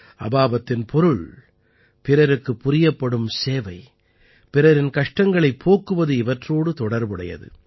அபாபத்தின் பொருள் பிறருக்குப் புரியப்படும் சேவை பிறரின் கஷ்டங்களைப் போக்குவது இவற்றோடு தொடர்புடையது